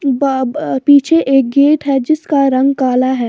ब-ब पीछे एक गेट है जिसका रंग काला है।